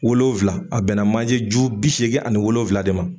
Wolonvila. a bɛnna manje ju bi seegin ani wolonvila de ma.